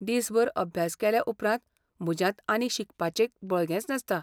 दिसभर अभ्यास केल्याउपरांत म्हज्यांत आनीक शिकपाचें बळगेंच नासता.